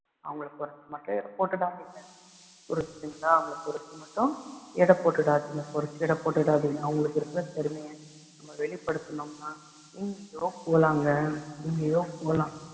அவங்களை குறைச்சு மட்டும் எடை போட்டுடாதீங்க புரிஞ்சுதுங்களா அவங்களை குறைச்சு மட்டும் எடை போட்டுடாதீங்க குறைச்சு எடை போட்டுடாதீங்க அவங்களுக்கு இருக்க திறமையை நம்ம வெளிப்படுத்துனோம்னா எங்கேயோ போகலாங்க. எங்கேயோ போகலாம்.